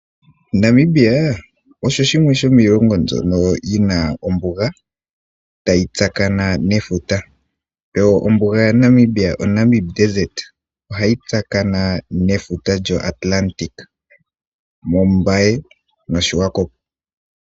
Namibia osho shimwe shomiilongo mbyono yina ombuga tayi tsakana nefuta yo ombuga ya Namibia oNamib Desert ohayi tsakana nefuta lyoAtlatic moMbaye noSwakop.